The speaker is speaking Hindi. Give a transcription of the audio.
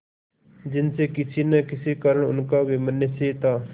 जिनसे किसी न किसी कारण उनका वैमनस्य था